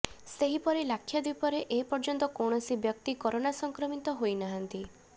ସେହି ପରି ଲାକ୍ଷାଦ୍ବୀପରେ ଏ ପର୍ଯ୍ୟନ୍ତ କୌଣସି ବ୍ୟକ୍ତି କରୋନା ସଂକ୍ରମିତ ହୋଇ ନାହାନ୍ତି